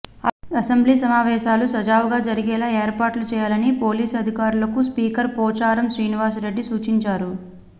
assembly సమావేశాలు సజావుగా జరిగేలా ఏర్పాట్లు చేయాలని పోలీసు అధికారులకు స్పీకర్ పోచారం శ్రీనివాస్ రెడ్డి సూచించారు